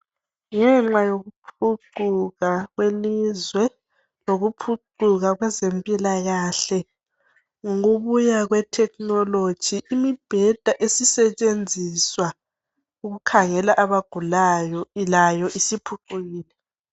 ngenxa yokuphucuka kwelizwe lokuphucuka kwezempilakahle ngokubuya kwe thekhinologi imibheda esebenziswa ukukhangela abagulayo layo isiphucukile